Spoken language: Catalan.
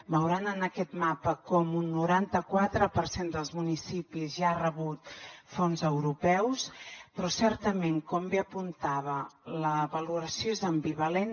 veuran en aquest mapa com un noranta quatre per cent dels municipis ja ha rebut fons europeus però certament com bé apuntava la valoració és ambivalent